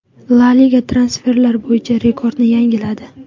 La Liga transferlar bo‘yicha rekordni yangiladi.